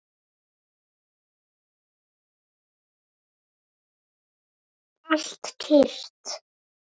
Allt kyrrt.